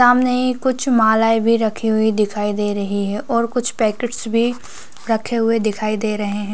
सामने ही कुछ मालाये भी रखी हुई दिखाई दे रही है और कुछ पैकेट्स भी रखे हुए दिखाई दे रहे हैं